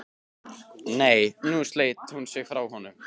Nei, nú sleit hún sig frá honum.